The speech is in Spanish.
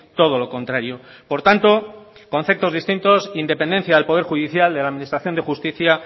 todo lo contrario por tanto conceptos distintos independencia al poder judicial de la administración de justicia